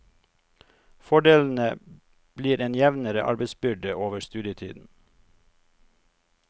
Fordelene blir en jevnere arbeidsbyrde over studietiden.